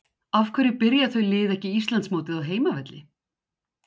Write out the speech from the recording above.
Af hverju byrja þau lið ekki Íslandsmótið á heimavelli?